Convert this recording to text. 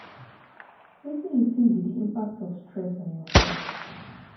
wetin you think be di impact of stress on your health?